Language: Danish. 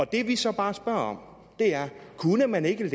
det vi så bare spørger om er kunne man ikke